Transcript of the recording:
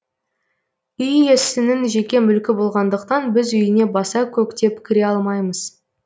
үй иесінің жеке мүлкі болғандықтан біз үйіне баса көктеп кіре алмаймыз